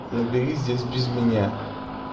набери здесь без меня